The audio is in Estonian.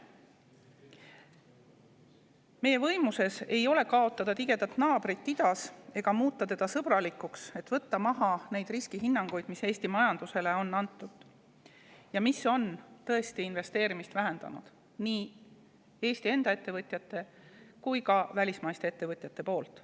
Meie võimuses ei ole kaotada tigedat naabrit idas ega muuta teda sõbralikuks, et võtta maha neid riskihinnanguid, mis Eesti majandusele on antud ja mis on tõesti vähendanud investeerimist nii Eesti enda ettevõtjate kui ka välismaiste ettevõtjate poolt.